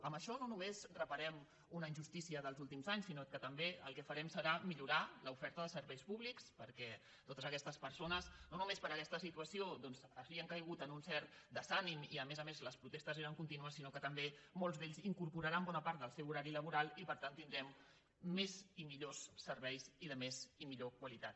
amb això no només reparem una injustícia dels últims anys sinó que també el que farem serà millorar l’oferta de serveis públics perquè totes aquestes persones no només per aquesta situa·ció doncs havien caigut en un cert desànim i a més a més les protestes eren contínues sinó que també molts d’ells incorporaran bona part del seu horari la·boral i per tant tindrem més i millors serveis i de més i millor qualitat